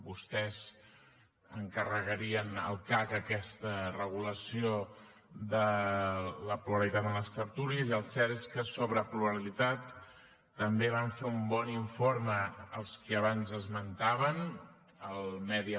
vostès encarregarien al cac aquesta regulació de la pluralitat en les tertúlies i el cert és que sobre pluralitat també vam fer un bon informe els qui abans esmentàvem el media